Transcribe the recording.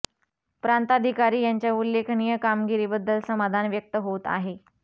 प्रांताधिकारी यांच्या उल्लेखनीय कामगिरी बद्दल समाधान व्यक्त होत आहे